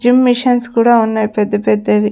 Gym machines కూడా ఉన్నాయ్ పెద్ద పెద్దవి.